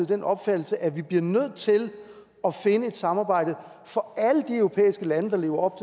den opfattelse at vi bliver nødt til at finde et samarbejde for alle de europæiske lande der lever op